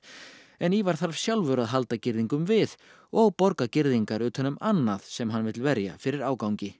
en Ívar þarf sjálfur að halda girðingum við og borga girðingar utan um annað sem hann vill verja fyrir ágangi